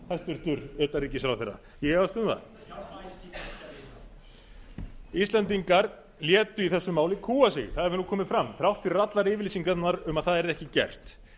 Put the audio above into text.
enn hæstvirts utanríkisráðherra ég efast um það íslendingar létu í þessu máli kúga sig það hefur komið fram þrátt fyrir allar yfirlýsingarnar um að það yrði ekki gert